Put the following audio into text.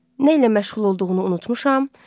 Nə ilə məşğul olduğunu unutmuşam.